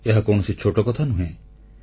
ଏହା କୌଣସି ଛୋଟ କଥା ନୁହେଁ